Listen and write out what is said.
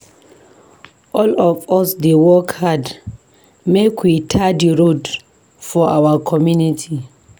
All of us dey work hard make we tar di road for our community.